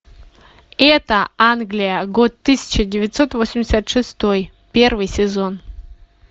это англия год тысяча девятьсот восемьдесят шестой первый сезон